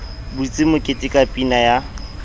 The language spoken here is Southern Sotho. butse mokete ka pina ya